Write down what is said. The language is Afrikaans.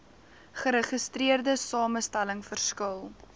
geregistreerde samestelling verskil